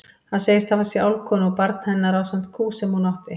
Hann segist hafa séð álfkonu og barn hennar ásamt kú sem hún átti.